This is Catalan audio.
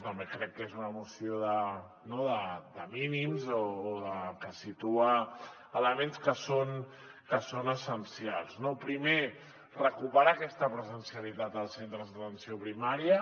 també crec que és una moció de mínims o que situa elements que són essencials no primer recuperar aquesta presencialitat als centres d’atenció primària